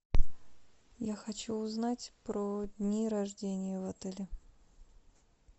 я хочу узнать про дни рождения в отеле